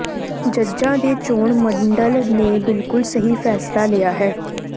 ਜੱਜਾਂ ਦੇ ਚੋਣ ਮੰਡਲ ਨੇ ਬਿਲਕੁਲ ਸਹੀ ਫੈਸਲਾ ਲਿਆ ਹੈ